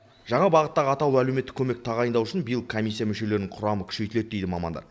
жаңа бағыттағы атаулы әлеуметтік көмекті тағайындау үшін биыл комиссия мүшелерінің құрамы күшейтіледі дейді мамандар